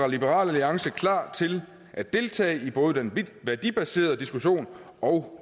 liberal alliance klar til at deltage i både den værdibaserede diskussion og